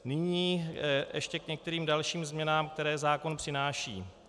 Nyní ještě k některým dalším změnám, které zákon přináší.